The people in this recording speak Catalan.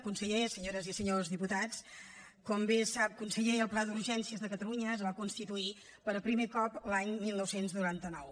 conseller senyores i senyors diputats com bé sap conseller ja el pla d’urgències de catalunya es va constituir per primer cop l’any dinou noranta nou